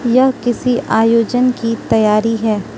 यह किसी आयोजन की तैयारी है।